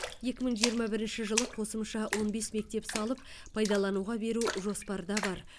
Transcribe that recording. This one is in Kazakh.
екі мың жиырма бірінші жылы қосымша он бес мектеп салып пайдалануға беру жоспарда бар